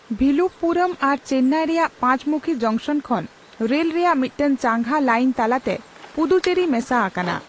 ᱵᱷᱤᱞᱩᱯᱯᱩᱨᱩᱢ ᱟᱨ ᱪᱮᱱᱱᱟᱭ ᱨᱮᱭᱟᱜ ᱯᱟᱸᱪᱢᱩᱠᱷᱤ ᱡᱚᱝᱥᱚᱱ ᱠᱷᱚᱱ ᱨᱮᱞ ᱨᱮᱭᱟᱜ ᱢᱤᱫᱴᱟᱝ ᱪᱟᱸᱜᱟ ᱞᱟᱭᱤᱱ ᱛᱟᱞᱟᱛᱮ ᱯᱩᱫᱩᱪᱮᱨᱤ ᱢᱮᱥᱟ ᱟᱠᱟᱱᱟ ᱾